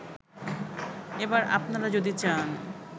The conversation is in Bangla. এবার আপনারা যদি চান